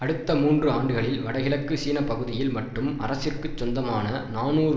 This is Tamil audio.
அடுத்த மூன்று ஆண்டுகளில் வடகிழக்கு சீன பகுதியில் மட்டும் அரசிற்கு சொந்தமான நாநூறு